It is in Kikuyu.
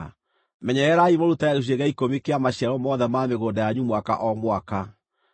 Menyererai mũrutage gĩcunjĩ gĩa ikũmi kĩa maciaro mothe ma mĩgũnda yanyu mwaka o mwaka.